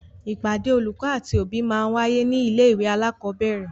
Ìpàdé olùkọ́ àti òbí máa ń wáyé ní ilé ìwé alakọ̀bẹ́ẹ́rẹ̀